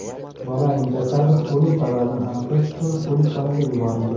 Bolaning jasadi o‘lim sababini aniqlash uchun o‘likxonaga yuborilgan.